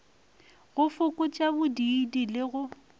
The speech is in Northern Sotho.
go fokotša bodiidi le go